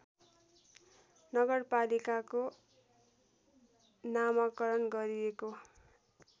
नगरपालिकाको नामाकरण गरिएको